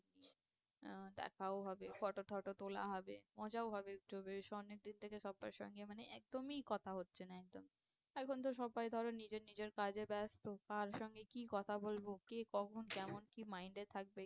আহ দেখাও হবে photo টোতো তোলা হবে। মজাও হবে একটু বেশ অনেক দিন থেকে সব্বইয়ের সঙ্গে মানে একদই কথা হচ্ছে না একদম, এখন তো সব্বাই ধরো নিজের নিজের কাজে ব্যস্ত কার সঙ্গে কি কথা বলবো কে কখন কেমন কি mind এ থাকবে